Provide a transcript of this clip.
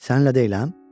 Səninlə deyiləm?